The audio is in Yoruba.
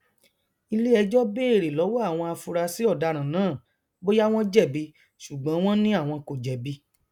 iléẹjọ béèrè lọwọ àwọn afurasí ọdaràn náà bóyá wọn jẹbi ṣùgbọn wọn ni àwọn kò jẹbi